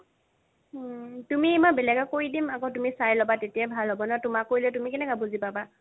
তুমি এইবাৰ বেলেগক কৰি দিম আকৌ তুমি চাই ল'বা তেতিয়া ভাল হ'ব ন তুমাকো তুমি কেনেকে বুজি পাবা